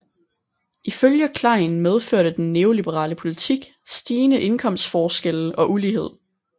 Ifølge Klein medførte den neoliberale politik stigende indkomstforskelle og ulighed